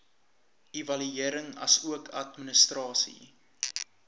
evaluering asook administrasie